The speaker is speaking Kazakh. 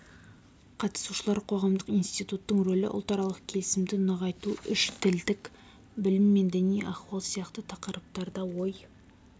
қатысушылар қоғамдық институттың ролі ұлтаралық келісімді нығайту үш тілдік білім мен діни ахуал сияқты тақырыптарда ой